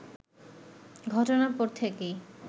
ঘটনার পর থেকেই